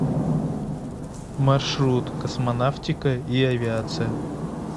маршрут космонавтика и авиация